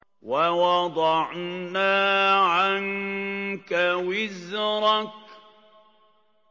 وَوَضَعْنَا عَنكَ وِزْرَكَ